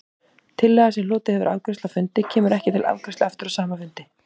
Tillaga, sem hlotið hefur afgreiðslu á fundi, kemur ekki til afgreiðslu aftur á sama fundi.